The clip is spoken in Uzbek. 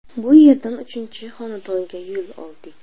Bu yerdan uchinchi xonadonga yo‘l oldik.